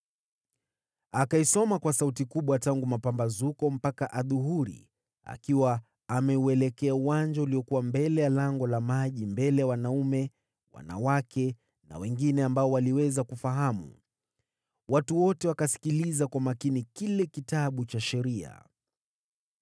Akaisoma kwa sauti kubwa tangu mapambazuko mpaka adhuhuri, akiwa ameuelekea uwanja uliokuwa mbele ya Lango la Maji mbele ya wanaume, wanawake na wengine ambao waliweza kufahamu. Watu wote wakasikiliza kwa makini kile Kitabu cha Sheria.